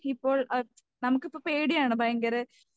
ഇപ്പോൾ നമുക്ക് ഇപ്പൊ പേടിയാണ് ഭയങ്കര